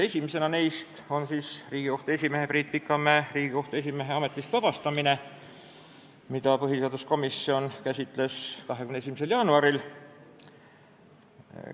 Esimene neist on Riigikohtu esimehe Priit Pikamäe ametist vabastamine, mida põhiseaduskomisjon käsitles 21. jaanuaril.